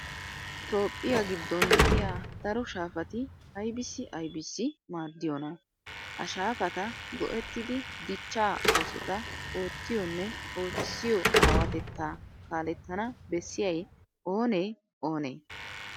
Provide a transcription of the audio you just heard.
Toophphiya giddon de'iya daro shaafati aybissi aybissi maaddiyonaa? Ha shaafata go"ettidi dichchaa oosota oottiyonne ootissiyo aawatettaa kaalettana bessiyay oonee oonee?